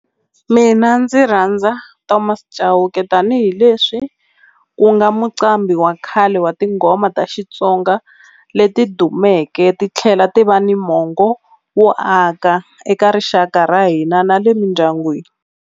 Mina ndzi rhandza Thomas Chauke tanihileswi ku nga muqambhi wa khale wa tinghoma ta Xitsonga leti dumeke ti tlhela ti va ni mongo wo aka eka rixaka ra hina na le mindyangwini.